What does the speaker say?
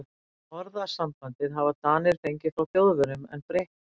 Orðasambandið hafa Danir fengið frá Þjóðverjum en breytt nafninu.